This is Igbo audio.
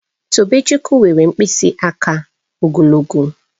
Tobechukwu nwere mkpịsị aka ogologo